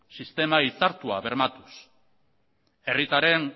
sistema hitzartua bermatuz herritarren